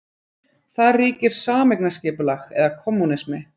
Þar ríkir sameignarskipulag eða kommúnismi.